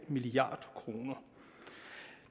milliard kroner